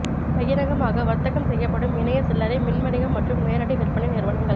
பகிரங்கமாக வர்த்தகம் செய்யப்படும் இணைய சில்லறை மின் வணிகம் மற்றும் நேரடி விற்பனை நிறுவனங்கள்